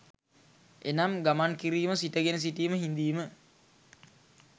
එනම්, ගමන් කිරීම, සිටගෙන සිටීම, හිඳීම